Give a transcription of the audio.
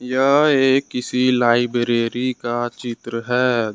यह एक किसी लाइब्रेरी का चित्र है।